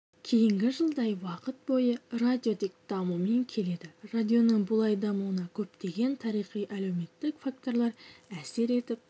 кейінгі жылдай уақыт бойы радио тек дамумен келеді радионың бұлай дамуына көптеген тарихи-әлеуметтік факторлар әсер етіп